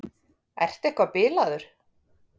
Ertu eitthvað bilaður?